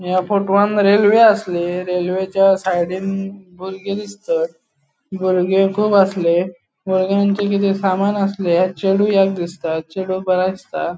या फोटवान रेल्वे आसली रेल्वेच्या सायडीन बुर्गी दिसतात बुर्गे कुब आसले बुर्ग्यांचे किते सामान आसले चेडु एक दिसता चेडु बरे दिसता.